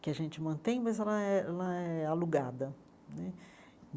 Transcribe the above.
que a gente mantém, mas ela é ela é alugada né.